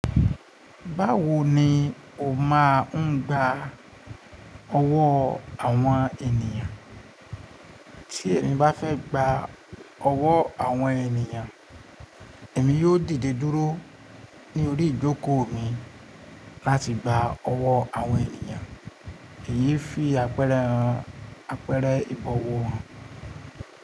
Báwo ni o máa ń gba ọwọ́ àwọn ènìyàn? Tí èmi bá fẹ́ gba ọwọ́ àwọn ènìyàn, èmi yóò dìde dúró ní orí ìjókòó mi láti gba ọwọ́ àwọn ènìyàn, èyí fi àpẹẹrẹ ìbọ̀wọ̀ hàn.